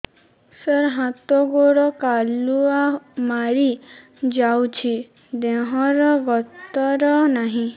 ସାର ହାତ ଗୋଡ଼ କାଲୁଆ ମାରି ଯାଉଛି ଦେହର ଗତର ନାହିଁ